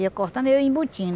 Ia cortando, eu ia embutindo.